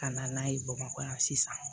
Ka na n'a ye bamakɔ yan sisan